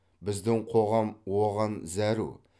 біздің қоғам оған зәру